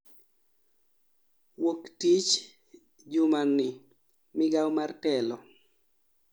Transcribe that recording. Wuok tich jumaa ni migao mar telo